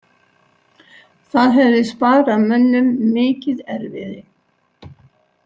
Það hefði sparað mönnum mikið erfiði.